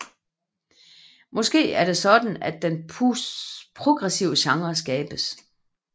Måske er det sådan at den progressive genre skabes